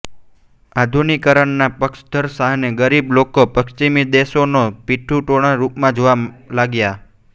આધુનિકીકરણના પક્ષધર શાહને ગરીબ લોકો પશ્ચિમી દેશોં નો પિટ્ઠૂના રૂપમાં જોવા લાગ્યાં